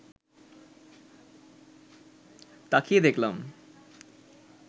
তাকিয়ে দেখলাম